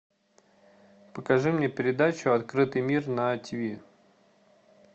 покажи мне передачу открытый мир на тиви